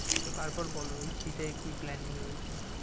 তো তারপর বলো এই শীতে কী planning রয়েছে?